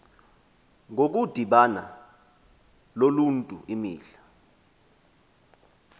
ngokudibana noluntu imihla